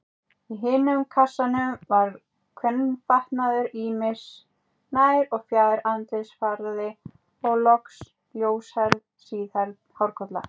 Í hinum kassanum var kvenfatnaður ýmis, nær- og fjær-, andlitsfarði og loks ljóshærð, síðhærð hárkolla.